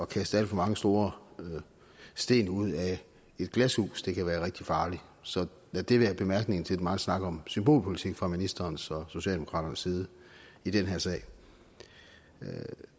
kaste alt for mange store sten ud af et glashus det kan være rigtig farligt så lad det være bemærkningen til den megen snak om symbolpolitik fra ministerens og socialdemokraternes side i den her sag